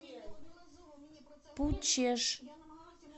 пучеж